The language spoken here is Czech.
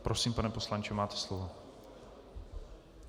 Prosím, pane poslanče, máte slovo.